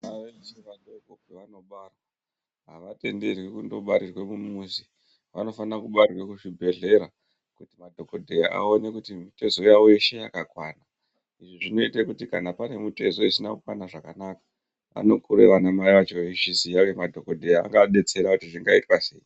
Ndau dzichiri vadoko pavanobarwa avatenderi kundobarirwe kumuzi anofanirwe kubarirwe kuzvibhedhlera kuti madhokodheya aone kuti mitezo yawo yeshe yakakwana izvi zvinoite kuti kana pane mitezo isina kukwana xvakanaka anokura ana mai acho eizviziya uye madhokodheya anodetsera kuti zvingaitwa sei.